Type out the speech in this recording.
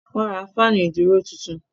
Wọ́n ra fáànù ìdúró tuntun.